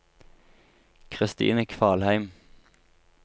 Christine Kvalheim